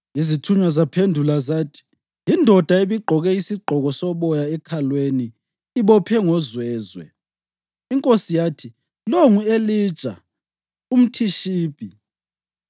Izithunywa zaphendula zathi, “Yindoda ebigqoke isigqoko soboya ekhalweni ibophe ngozwezwe.” Inkosi yathi, “Lowo ngu-Elija umThishibi.”